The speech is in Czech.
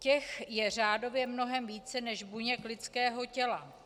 Těch je řádově mnohem více než buněk lidského těla.